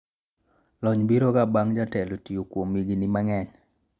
lony biro ga bang' jatelo tiyo kuom higni mang'eny